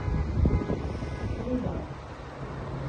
руза